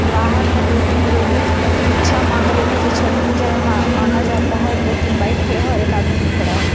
बाहर में दो तीन लेडिस भिक्षा मांग रही हैं जो छठ पूजा में मा मांगा जाता है दो तीन बाइक खड़े हैं और एक आदमी भी खड़ा है।